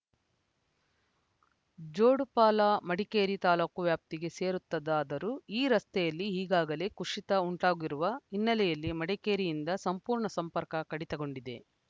ಜೋಡುಪಾಲ ಮಡಿಕೇರಿ ತಾಲೂಕು ವ್ಯಾಪ್ತಿಗೆ ಸೇರುತ್ತದಾದರೂ ಈ ರಸ್ತೆಯಲ್ಲಿ ಈಗಾಗಲೇ ಕುಸಿತ ಉಂಟಾಗಿರುವ ಹಿನ್ನೆಲೆಯಲ್ಲಿ ಮಡಿಕೇರಿಯಿಂದ ಸಂಪೂರ್ಣ ಸಂಪರ್ಕ ಕಡಿತಗೊಂಡಿದೆ